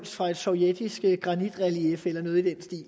fra et sovjetisk granitrelief eller noget i den stil